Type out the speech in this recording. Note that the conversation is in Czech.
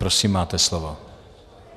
Prosím, máte slovo.